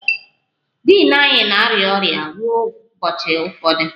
Din anyị na-arịa ọrịa ruo ụbọchị ụfọdụ